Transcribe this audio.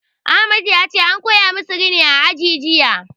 Ahmad yace an koya musu rini a aji jiya